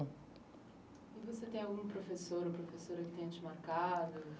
E você tem algum professor ou professora que tenha te marcado?